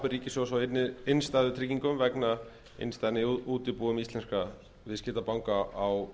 ríkissjóðs á innstæðutryggingum vegna innstæðna í útibúum íslenskra viðskiptabanka á